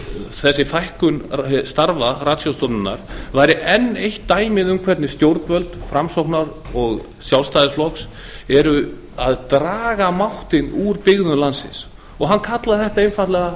þessi fækkun starfa ratsjárstofnunar væri enn eitt dæmi um hvernig stjórnvöld framsóknar og sjálfstæðisflokks eru að draga máttinn úr byggðum landsins og hann kallaði þetta einfaldlega